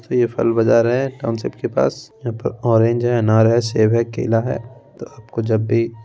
फल बाजार है पास ऑरेंज है अनार है सेब है केला है तो आपको जब भी ---